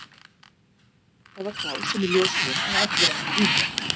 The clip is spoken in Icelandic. Það var þá sem í ljós kom að allir áttu vín.